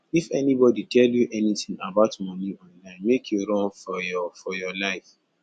if anybody tell you anything about money online make you run for your for your life